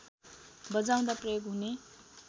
बजाउँदा प्रयोग हुने